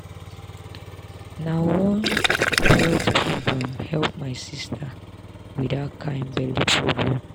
na one health program help my sister with that kind belly problem.